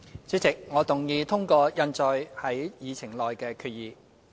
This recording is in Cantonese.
主席，我動議通過印載於議程內的議案。